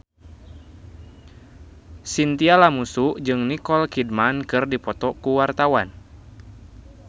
Chintya Lamusu jeung Nicole Kidman keur dipoto ku wartawan